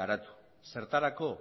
garatu zertarako